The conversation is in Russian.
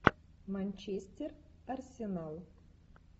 манчестер арсенал